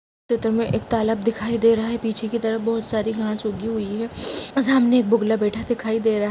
तो तुम्हे एक तालाब दिखाई दे रहा है पीछे की तरफ बहुत सारी घास उगी हुई हैं और सामने एक बुगला दिखाई दे रहा है।